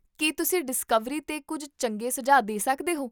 ਕੀ ਤੁਸੀਂ ਡਿਸਕਵਰੀ 'ਤੇ ਕੁੱਝ ਚੰਗੇ ਸੁਝਾਅ ਦੇ ਸਕਦੇ ਹੋ?